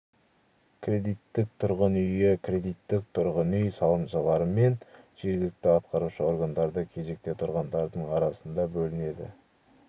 кредиттік тұрғын үйі кредиттік тұрғын үй салымшылары мен жергілікті атқарушы органдарда кезекте тұрғандардың арасында бөлінеді